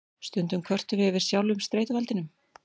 Stundum kvörtum við yfir sjálfum streituvaldinum.